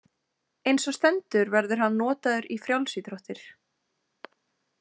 Eins og stendur verður hann notaður í frjálsíþróttir.